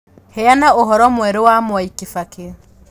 Heana ũhoro mwerũ wa mwai kibaki